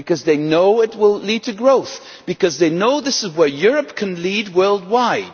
because they know it will lead to growth because they know this is where Europe can lead worldwide.